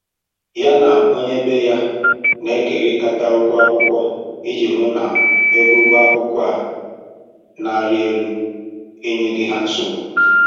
Ya na onye ebe ya na-ekerikata ụgwọ akwụkwọ iji hụ na ego ụgwọ akwụkwọ a na-erị elu enyeghị ha nsogbu